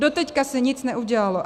Doteď se nic neudělalo.